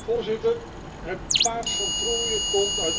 Het paard van Troje komt uit Ankara.